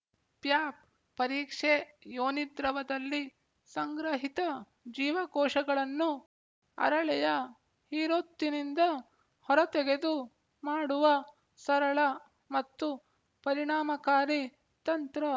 ಪ್ಯಾಪ್ ಪರೀಕ್ಷೆ ಯೋನಿದ್ರವದಲ್ಲಿ ಸಂಗ್ರಹಿತ ಜೀವಕೋಶಗಳನ್ನು ಅರಳೆಯ ಹೀರೊತ್ತಿನಿಂದ ಹೊರತೆಗೆದು ಮಾಡುವ ಸರಳ ಮತ್ತು ಪರಿಣಾಮಕಾರಿ ತಂತ್ರ